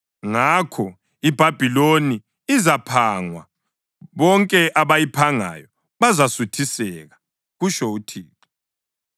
Ngakho iBhabhiloni izaphangwa, bonke abayiphangayo bazasuthiseka,” kutsho uThixo.